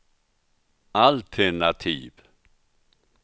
altenativ